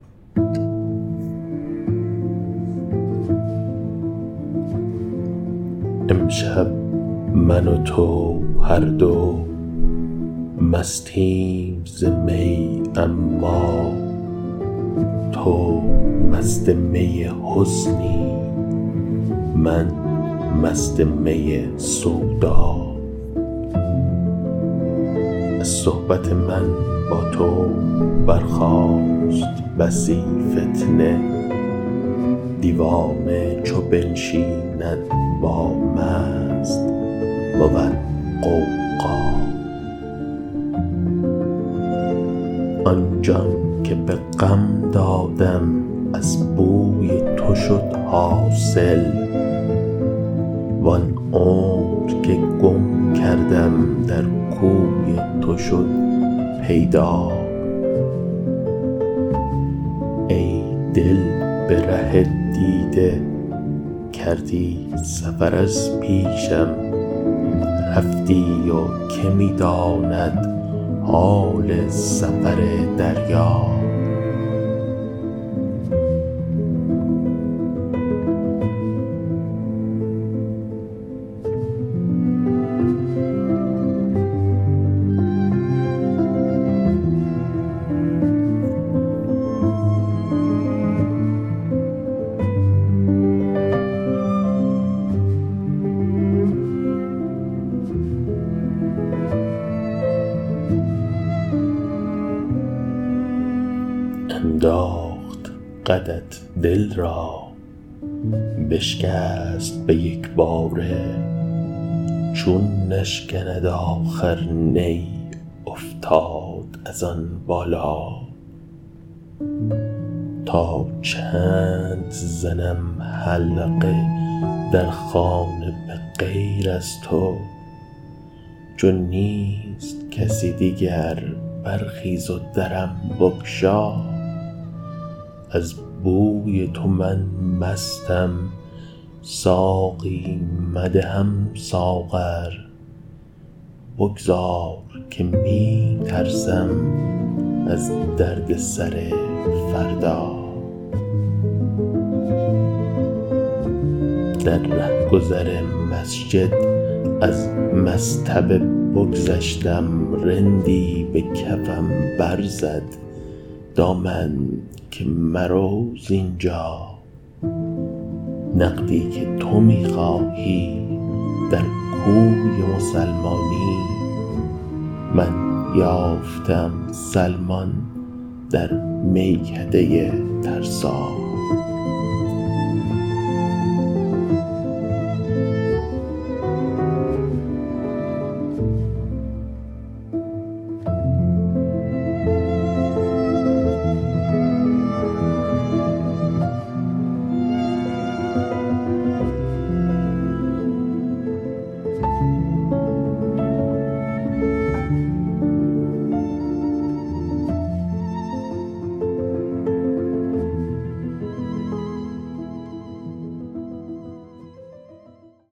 امشب من و تو هر دو مستیم ز می اما تو مست می حسنی من مست می سودا از صحبت من با تو برخاست بسی فتنه دیوانه چو بنشیند با مست بود غوغا آن جان که به غم دادم از بوی تو شد حاصل وآن عمر که گم کردم در کوی تو شد پیدا ای دل به ره دیده کردی سفر از پیشم رفتی و که می داند حال سفر دریا انداخت قدت دل را بشکست به یکباره چون نشکند آخر نی افتاد از آن بالا تا چند زنم حلقه در خانه به غیر از تو چون نیست کسی دیگر برخیز و درم بگشا از بوی تو من مستم ساقی مدهم ساغر بگذار که می ترسم از درد سر فردا در رهگذر مسجد از مصطبه بگذشتم رندی به کفم برزد دامن که مرو ز اینجا نقدی که تو می خواهی در کوی مسلمانی من یافته ام سلمان در میکده ترسا